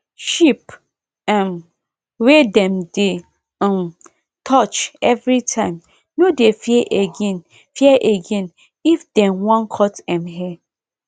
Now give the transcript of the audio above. sheep um wey dem dey um touch every time no dey fear again fear again if dem wan cut em hair